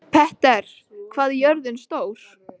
Petter, hvað er jörðin stór?